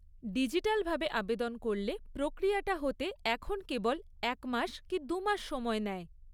Digital ভাবে আবেদন করলে প্রক্রিয়াটা হতে এখন কেবল এক মাস কী দু'মাস সময় নেয়।